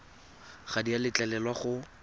ga di a letlelelwa go